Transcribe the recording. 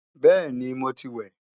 Bẹ́ẹ̀ni, mo ti wẹ̀